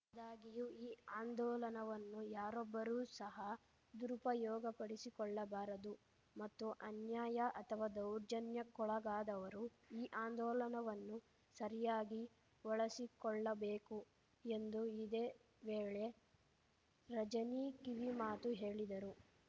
ಆದಾಗ್ಯೂ ಈ ಆಂದೋಲನವನ್ನು ಯಾರೊಬ್ಬರೂ ಸಹ ದುರುಪಯೋಗಪಡಿಸಿಕೊಳ್ಳಬಾರದು ಮತ್ತು ಅನ್ಯಾಯ ಅಥವಾ ದೌರ್ಜನ್ಯಕ್ಕೊಳಗಾದವರು ಈ ಆಂದೋಲನವನ್ನು ಸರಿಯಾಗಿ ಬಳಸಿಕೊಳ್ಳಬೇಕು ಎಂದು ಇದೇ ವೇಳೆ ರಜನೀ ಕಿವಿಮಾತು ಹೇಳಿದರು